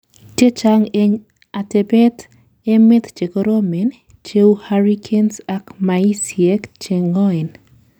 chechang en atebtab emet chekoromen, cheu hurricanes ak maisiek cheng'oen